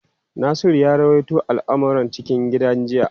Nasiru ya ruwaito al’amuran cikin gida jiya.